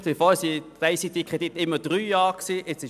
Bisher wurden ICTKredite immer für drei Jahre gesprochen.